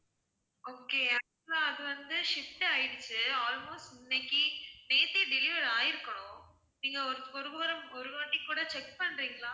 okay actual ஆ அது வந்து shipped ஆயிடுச்சு, almost இன்னைக்கு நேத்தே deliver ஆயிருக்கணும், நீங்க ஒரு முறை ஒரு வாட்டி கூட check பண்றீங்களா?